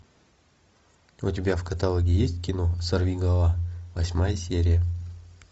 у тебя в каталоге есть кино сорвиголова восьмая серия